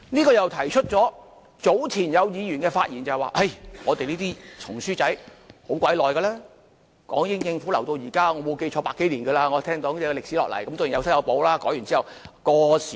就這方面，早前有議員發言時，指出我們這本"紅書仔"歷史很悠久，由港英政府留到現在，我沒有記錯已有百多年了，我聽說歷史延續下來，當然有修有補，改完之後。